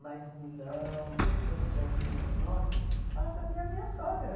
Mas Milão, toda essa cidadezinha do norte, basta ver a minha sogra.